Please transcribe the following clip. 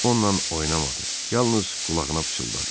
Onla oynamadı, yalnız qulağına pıçıldadı.